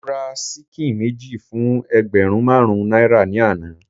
Mo ra ṣíkìn méjì fún ẹgbẹ̀rún marun náírà ni àná.